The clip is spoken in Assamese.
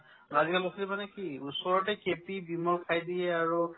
বস্তু মানে কি ওচৰতে KP , ভিমল খাই দিয়ে আৰু